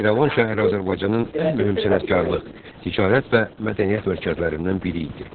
İrəvan şəhəri Azərbaycanın ən mühüm sənətkarlıq, ticarət və mədəniyyət mərkəzlərindən biri idi.